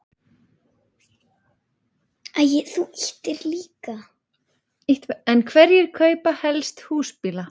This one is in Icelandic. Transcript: En hverjir kaupa helst húsbíla?